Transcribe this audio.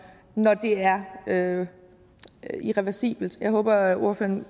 når det er irreversibelt jeg håber at ordføreren